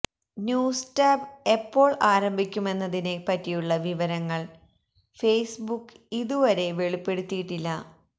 news tab എപ്പോൾ ആരംഭിക്കുമെന്നതിനെ പറ്റിയുള്ള വിവരങ്ങൾ ഫെസ്ബുക്ക് ഇതുവരെ വെളിപ്പെടുത്തിയിട്ടില്ല